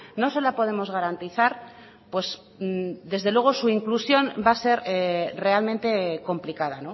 no se la podemos garantizar pues desde luego su inclusión va a ser realmente complicada